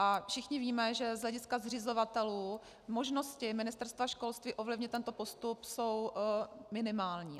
A všichni víme, že z hlediska zřizovatelů možnosti Ministerstva školství ovlivnit tento postup jsou minimální.